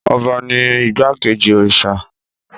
Ọba ni igbákejì òrìṣà.